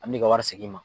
An bɛ ka wari segin i ma